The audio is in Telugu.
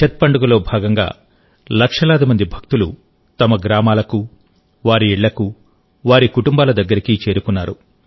ఛత్ పండుగలో భాగంగా లక్షలాది మంది భక్తులు తమ గ్రామాలకు వారి ఇళ్లకు వారి కుటుంబాల దగ్గరికి చేరుకున్నారు